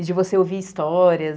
E de você ouvir histórias.